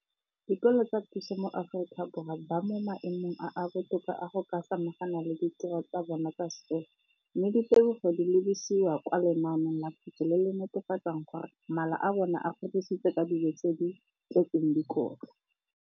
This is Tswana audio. Dikolo tsa puso mo Aforika Borwa ba mo maemong a a botoka a go ka samagana le ditiro tsa bona tsa sekolo, mme ditebogo di lebisiwa kwa lenaaneng la puso le le netefatsang gore mala a bona a kgorisitswe ka dijo tse di tletseng dikotla.